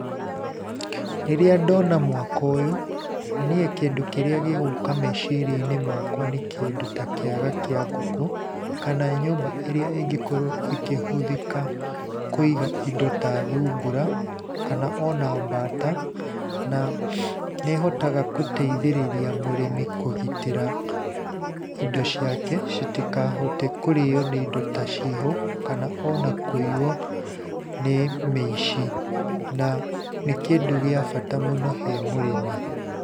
Rĩrĩa ndona mwako ũyũ, niĩ kĩndũ kĩrĩa gĩgũka meciria-inĩ makwa, nĩ kĩndũ ta kiaga kĩa ngũkũ kana nyũmba ĩrĩa ingĩkorwo ĩkĩhũthĩka kũiga indo ta thungura, kana ona mbata, na nĩhotaga gũteithĩrĩria mũrĩmi kũgitĩra indo ciake citikahote kũrĩo nĩ indo ta ciiho kana ona kũiywo nĩ mĩici. Na nĩ kĩndũ gia bata mũno he mũrĩmi.